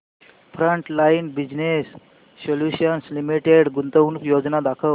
frontline business solutions limited गुंतवणूक योजना दाखव